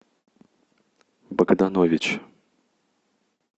богданович